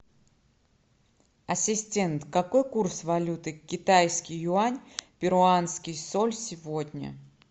ассистент какой курс валюты китайский юань перуанский соль сегодня